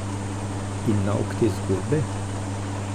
In nauk te zgodbe?